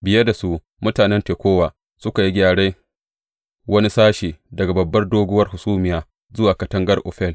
Biye da su, mutanen Tekowa suka yi gyaran wani sashe, daga babbar doguwar hasumiya zuwa katangar Ofel.